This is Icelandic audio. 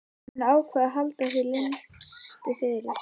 Hann ákvað að halda því leyndu fyrir